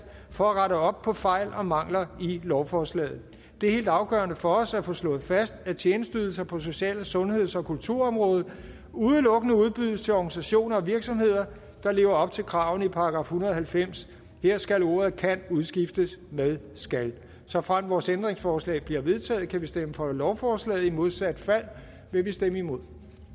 for at rette op på fejl og mangler i lovforslaget det er helt afgørende for os at få slået fast at tjenesteydelser på social og sundheds og kulturområdet udelukkende udbydes til organisationer og virksomheder der lever op til kravene i § en hundrede og halvfems her skal ordet kan udskiftes med skal såfremt vores ændringsforslag bliver vedtaget kan vi stemme for lovforslaget i modsat fald vil vi stemme imod